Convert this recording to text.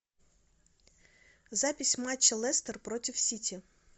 запись матча лестер против сити